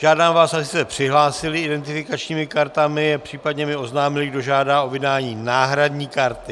Žádám vás, abyste se přihlásili identifikačními kartami, případně mi oznámili, kdo žádá o vydání náhradní karty.